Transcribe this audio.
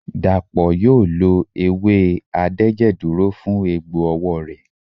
Dàpọ̀ yóò lo ewé adẹ́jẹ̀dúró fún egbò ọwọ́ rẹ̀.